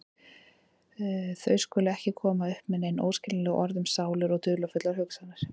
Þau skulu ekki komast upp með nein óskiljanleg orð um sálir og dularfullar hugsanir.